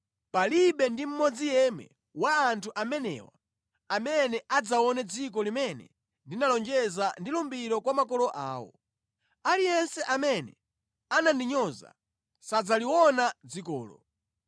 palibe ndi mmodzi yemwe wa anthu amenewa amene adzaone dziko limene ndinalonjeza ndi lumbiro kwa makolo awo. Aliyense amene anandinyoza sadzaliona dzikolo.